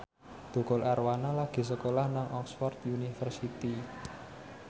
Tukul Arwana lagi sekolah nang Oxford university